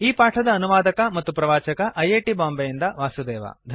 ಈ ಪಾಠದ ಅನುವಾದಕ ಮತ್ತು ಪ್ರವಾಚಕ ಐ ಐ ಟಿ ಬಾಂಬೆಯಿಂದ ವಾಸುದೇವ